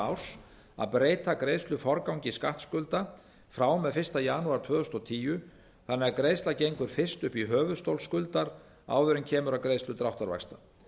árs að breyta greiðsluforgangi skattskulda frá og með fyrsta janúar tvö þúsund og tíu þannig að greiðsla gengur fyrst upp í höfuðstól skuldar áður en kemur að greiðslu dráttarvaxta